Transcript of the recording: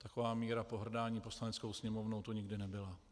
Taková míra pohrdání Poslaneckou sněmovnou tu nikdy nebyla.